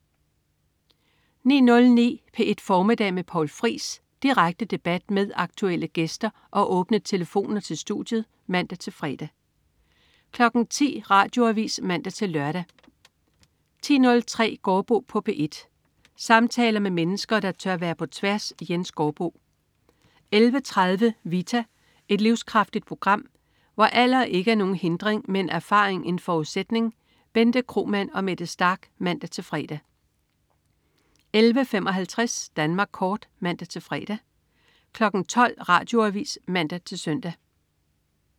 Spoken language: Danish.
09.09 P1 Formiddag med Poul Friis. Direkte debat med aktuelle gæster og åbne telefoner til studiet (man-fre) 10.00 Radioavis (man-lør) 10.03 Gaardbo på P1. Samtaler med mennesker, der tør være på tværs. Jens Gaardbo 11.30 Vita. Et livskraftigt program, hvor alder ikke er nogen hindring, men erfaring en forudsætning. Bente Kromann og Mette Starch (man-fre) 11.55 Danmark Kort (man-fre) 12.00 Radioavis (man-søn)